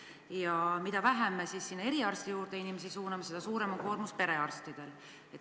Ja mida vähem me sinna eriarsti juurde inimesi suuname, seda suurem koormus on perearstidel.